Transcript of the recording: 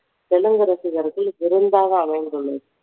தெலுங்கு ரசிகர்கள் விருந்தாக அமைந்துள்ளது